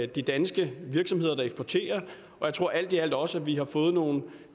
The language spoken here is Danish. de danske virksomheder der eksporterer og jeg tror alt i alt også at vi har fået nogle